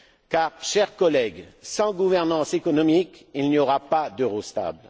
Car, chers collègues, sans gouvernance économique, il n'y aura pas d'euro stable.